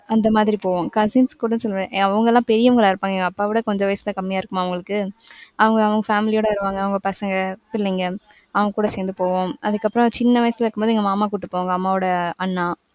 அந்தமாதிரி போவாாங். Cousins கூட சொல்லுவேன் அவங்க எல்லாம் பெரியவங்களா இருப்பாங்க. எங்க அப்பாவவிட கொஞ்சம் வயசு தான் கம்மியா இருக்குமா அவங்களுக்கு அவங்க, அவங்க family ஓட வருவாங்க அவங்க பசங்க, பிள்ளைங்க அவங்ககூட சேந்து போவோம். அதுக்கப்பறம் சின்ன வயசுல இருக்கும்போது எங்க மாமா கூட்டிப்போவாங்க அம்மாவோட அண்ணா.